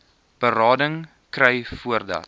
berading kry voordat